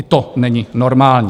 I to není normální.